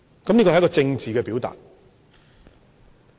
這是一個政治表達。